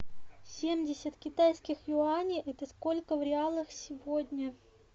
семьдесят китайских юаней это сколько в реалах сегодня